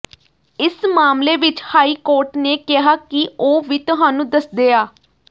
ਇਸ ਮਾਮਲੇ ਵਿਚ ਹਾਈਕੋਰਟ ਨੇ ਕਿਹਾ ਕਿ ਉਹ ਵੀ ਤੁਹਾਨੂੰ ਦੱਸਦੇ ਆਂ